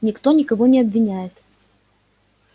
никто никого не обвиняет